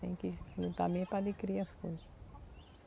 Tem que lutar mesmo para adquirir as coisas.